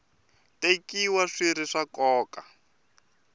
tekiwa swi ri swa nkoka